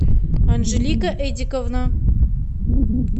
анжелика эдиковна